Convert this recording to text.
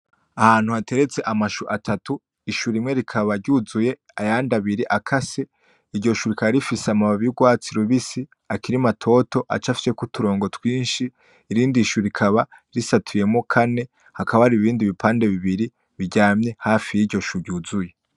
Ahantu hateretse amashou atatu, ishou rimwe rikaba ryuzuye ayandi abiri akase, iryo shou rikaba rifise amababi ry'urwatsi rubisi akiri matoto acafyeko uturongo twinshi. Irindi shou rikaba risatuyemo kane, hakaba hari ibindi bipande bibiri biryamye hafi yiryo shou yuzuye.